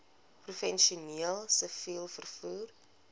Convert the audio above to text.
professioneel siviel vervoer